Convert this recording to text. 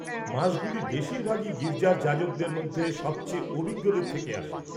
মাসগুলি বেশিরভাগই গির্জার যাজকদের মধ্যে সবচেয়ে অভিজ্ঞদের থেকে আসে।